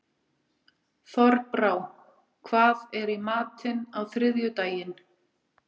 Þorbrá, hvað er í matinn á þriðjudaginn?